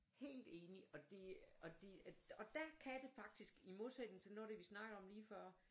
Helt enig og det der kan det faktisk i modsætning til noget af det vi snakkede om lige før